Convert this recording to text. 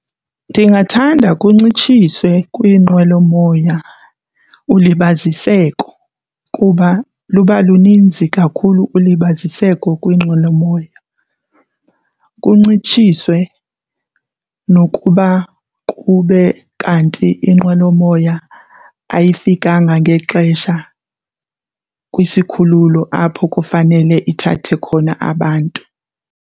Ndingathanda kuncitshiswe kwiinqwelomoya ulibaziseko kuba luba luninzi kakhulu ulibaziseko kwiinqwelomoya. Kuncitshiswe nokuba kube kanti inqwelomoya ayifikanga ngexesha kwisikhululo apho kufanele ithathe khona abantu.